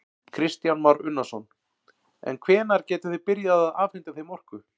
Kristján Már Unnarsson: En hvenær gætuð þið byrjað að afhenta þeim orku?